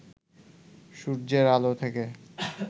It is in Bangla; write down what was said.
সূর্যের আলো থেকে